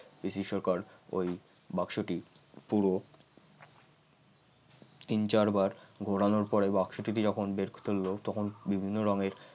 পিসি সরকার ঐ বাক্সটি পুরো তিন চারবার ঘোরানোর পরে বাক্সটিতে যখন বের করতে লাগল তখন বিভিন্ন রঙের